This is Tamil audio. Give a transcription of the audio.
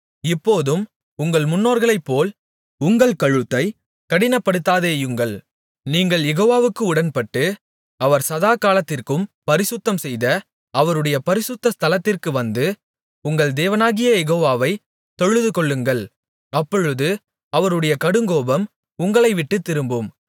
இப்போதும் உங்கள் முன்னோர்களைப்போல் உங்கள் கழுத்தைக் கடினப்படுத்தாதேயுங்கள் நீங்கள் யெகோவாவுக்கு உடன்பட்டு அவர் சதாகாலத்திற்கும் பரிசுத்தம்செய்த அவருடைய பரிசுத்த ஸ்தலத்திற்கு வந்து உங்கள் தேவனாகிய யெகோவாவை தொழுதுகொள்ளுங்கள் அப்பொழுது அவருடைய கடுங்கோபம் உங்களை விட்டுத் திரும்பும்